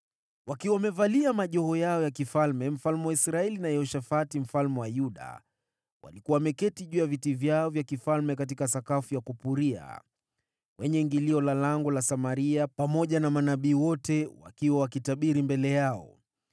Wakiwa wamevalia majoho yao ya kifalme, mfalme wa Israeli na Yehoshafati mfalme wa Yuda walikuwa wameketi juu ya viti vyao vya kifalme katika sakafu ya kupuria, kwenye ingilio la lango la Samaria, pamoja na manabii wote wakiwa wakitabiri mbele yao.